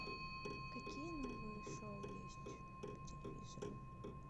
какие новые шоу есть по телевизору